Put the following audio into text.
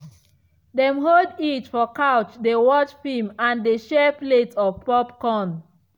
dem hold each for couch dey watch film and dey share plate of popcorn.